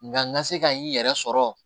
Nka n ka se ka n yɛrɛ sɔrɔ